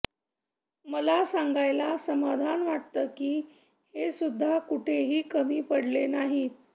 मला सांगायला समाधान वाटतं की हेसुद्धा कुठेही कमी पडलेले नाहीत